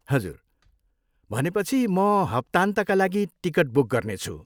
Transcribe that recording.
हजुर, भनेपछि म हप्तान्तका लागि टिकट बुक गर्नेछु।